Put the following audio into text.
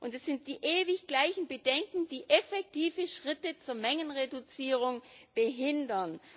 Es sind die ewig gleichen Bedenken, die effektive Schritte zur Mengenreduzierung behindern.